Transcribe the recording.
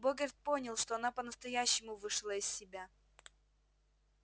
богерт понял что она по-настоящему вышла из себя